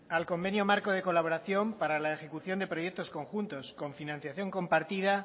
al convenio marco de colaboración para la ejecución de proyectos conjuntos con financiación compartida